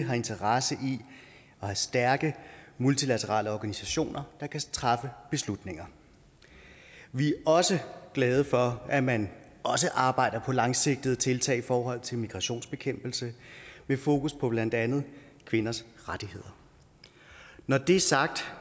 har interesse i at have stærke multilaterale organisationer der kan træffe beslutninger vi er også glade for at man også arbejder på langsigtede tiltag i forhold til migrationsbekæmpelse med fokus på blandt andet kvinders rettigheder når det er sagt